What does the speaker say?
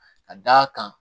Ka d'a kan